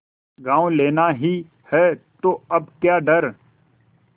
गॉँव लेना ही है तो अब क्या डर